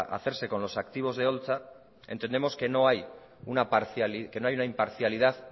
hacerse con los activos de holtza entendemos que no hay una imparcialidad